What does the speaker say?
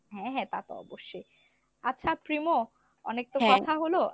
হ্যা হ্যা তা তো অবশ্যই , আচ্ছা প্রিমো অনেক তো কথা হল,